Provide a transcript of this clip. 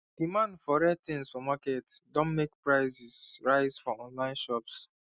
demand for rare things for market don make prices rise for online shops